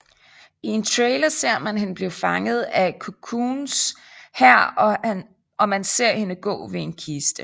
I en trailer ser man hende blive fanget af Cocoons hær og man ser hende gå ved en kiste